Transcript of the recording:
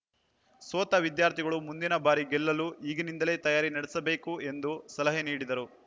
ಸೋತ ವಿದ್ಯಾರ್ಥಿಗಳು ಮುಂದಿನ ಬಾರಿ ಗೆಲ್ಲಲು ಈಗಿನಿಂದಲೇ ತಯಾರಿ ನಡೆಸಬೇಕು ಎಂದು ಸಲಹೆ ನೀಡಿದರು